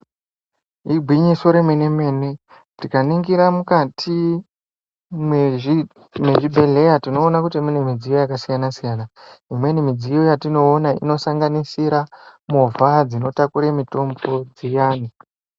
Igwinyiso remene mene tikaningira mwukati mwezvibhedhleya tinoona kuti mune midziyo yakasiyana siyana. Imweni midziyo yatinoona inosanganisira movha dzinotakure mutombo dziyani.